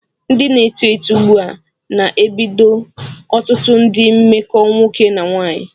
Ndị na-eto eto ugbu a na-edobe ọtụtụ ndị mmekọ nwoke na nwaanyị.